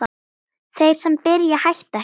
Þeir sem byrja hætta ekki!